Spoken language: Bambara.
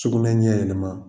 Sugunɛ ɲɛ yɛlɛma.